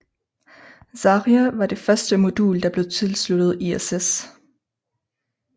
Zarja var det første modul der blev tilsluttet ISS